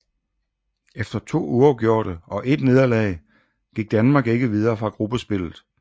Efter to uafgjorte og ét nederlag gik Danmark ikke videre fra gruppespillet